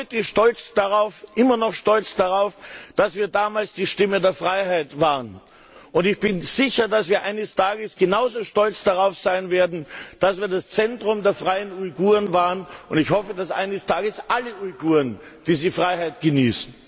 Wir sind heute noch immer stolz darauf, dass wir damals die Stimme der Freiheit waren. Ich bin sicher, dass wir eines Tages genauso stolz darauf sein werden, dass wir das Zentrum der freien Uiguren waren, und ich hoffe, dass eines Tages alle Uiguren diese Freiheit genießen!